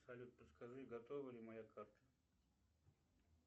салют подскажи готова ли моя карта